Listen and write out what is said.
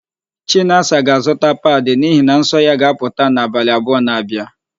Chinasa ga-azụta padị n'ihi na nsọ ya ga-apụta n'abalị abụọ na-abịa.